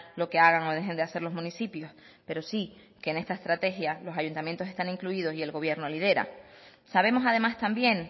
lo que hagan o dejen de hacer los municipios pero sí que en esta estrategia los ayuntamientos están incluidos y el gobierno lidera sabemos además también